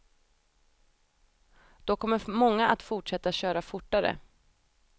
Då kommer många att fortsätta köra fortare.